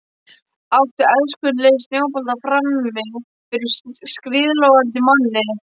Átta elskulegir snjóboltar frammi fyrir skíðlogandi manni.